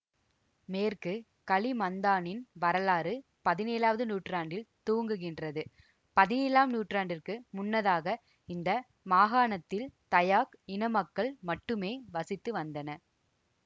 மேற்கு கலிமந்தானின் வரலாறு பதினேழாவது நூற்றாண்டில் துவங்குகின்றது பதினேழாம் நூற்றாண்டிற்கு முன்னதாக இந்த மாகாணத்தில் தயாக் இனமக்கள் மட்டுமே வசித்து வந்தனர்